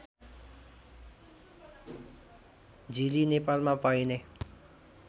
झिली नेपालमा पाइने